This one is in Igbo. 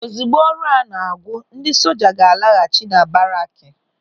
Ozigbo ọrụ a na-agwu, ndị soja ga-alaghachi na baraaki.